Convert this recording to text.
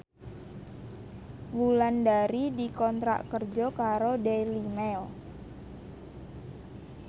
Wulandari dikontrak kerja karo Daily Mail